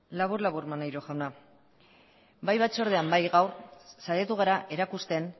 labur labur maneiro jauna bai batzordean bai gaur saiatu gara erakusten